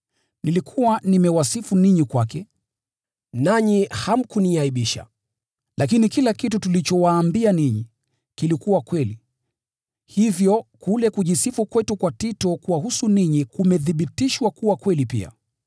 Nilikuwa nimewasifu ninyi kwake, nanyi hamkuniaibisha. Lakini kila kitu tulichowaambia ninyi, kilikuwa kweli, hivyo kule kujisifu kwetu kwa Tito kuwahusu ninyi kumethibitishwa kuwa kweli pia.